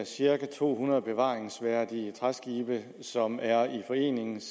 cirka to hundrede bevaringsværdige træskibe som er i forenings